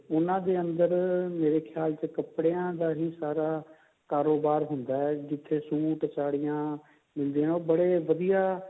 ਉਹਨਾਂ ਦੇ ਅੰਦਰ ਮੇਰੇ ਖਿਆਲ ਚ ਕੱਪੜਿਆ ਦਾ ਹੀ ਸਾਰਾ ਕਾਰੋਬਾਰ ਹੁੰਦਾ ਹੈ ਜਿੱਥੇ suit ਸਾੜੀਆਂ ਮਿਲਦੀਆਂ ਨੇ ਉਹ ਬੜੇ ਵਧੀਆ